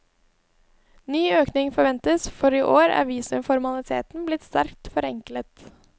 Ny økning forventes, for i år er visumformalitetene blitt sterkt forenklet.